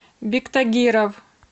биктагиров